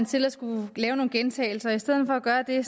til at skulle lave nogle gentagelser i stedet for at gøre det